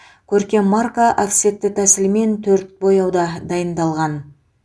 көркем марка офсетті тәсілмен төрт бояуда дайындалған